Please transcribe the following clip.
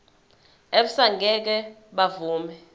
abesars ngeke bavuma